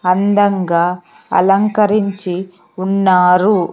అందంగా అలంకరించి ఉన్నారు .